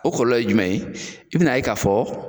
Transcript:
O kɔlɔlɔ ye jumɛn in ye, bɛna ye k'a fɔ